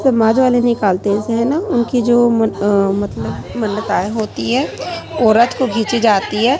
समाज वाले निकालते इसे हैं ना उनकी जो मन अ मतलब मनताये होती है वो रथ को खींची जाती है।